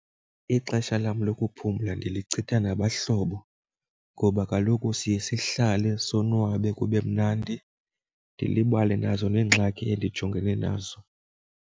Ixesha lam lokuphumla ndilichitha nabahlobo ngoba kaloku siye sihlale sonwabe kube mnandi, ndilibale nazo neengxaki endijongene nazo.